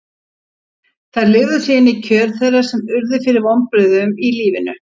Þær lifðu sig inn í kjör þeirra sem urðu fyrir vonbrigðum í lífinu.